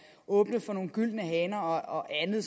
åbnet for nogle gyldne haner og andet